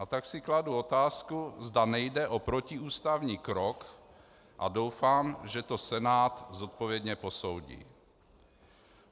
A tak si kladu otázku, zda nejde o protiústavní krok, a doufám, že to Senát zodpovědně posoudí.